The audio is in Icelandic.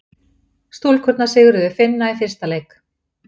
Stúlkurnar sigruðu Finna í fyrsta leik